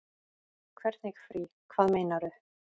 Hvernig frí. hvað meinarðu?